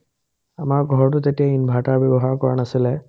আমাৰ ঘৰটোত যেতিয়া inverter ব্যৱহাৰ কৰা নাছিলে